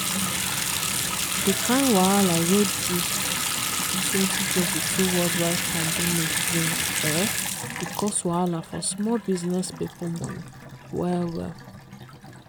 di kain wahala wey di 2022 worldwide pandemic bring eeh e cause wahala for small business people money well well.